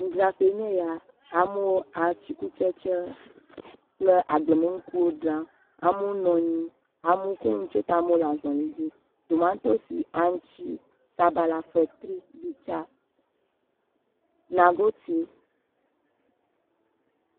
Nudzraƒe nye ya, amewo atikutsetse kple agblemenukuwo dzram. Amewo nɔ anyi, amewo kɔ nu tsɔe ta, amewo le azɔli dzi. Tomantosi, aŋutsi, sabala, fetri, gbitsa nagote…..